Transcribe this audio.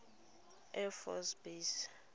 air force base